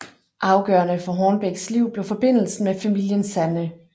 Afgørende for Hornbecks liv blev forbindelsen med familien Sanne